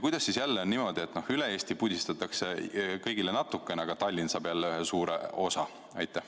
Kuidas siis jälle on niimoodi, et üle Eesti pudistatakse kõigile natukene, aga Tallinn saab jälle ühe suure osa?